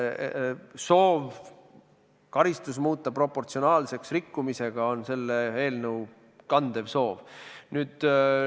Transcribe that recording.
Soov muuta karistus proportsionaalseks rikkumisega on selle eelnõu kandev soov.